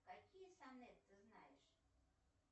какие сонет ты знаешь